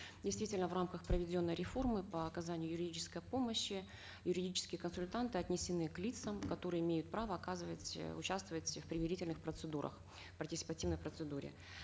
действительно в рамках проведенной реформы по оказанию юридической помощи юридические консультанты отнесены к лицам которые имеют право оказывать э участвовать в примирительных процедурах в партисипативной процедуре